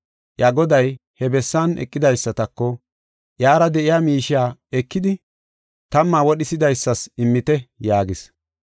“Iya goday he bessan eqidaysatako, ‘Iyara de7iya miishiya ekidi tamma wodhisidaysas immite’ yaagis.